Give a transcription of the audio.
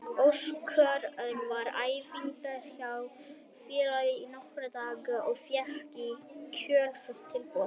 Óskar Örn var við æfingar hjá félaginu í nokkra daga og fékk í kjölfarið tilboð.